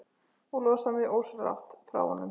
Og losaði mig ósjálfrátt frá honum.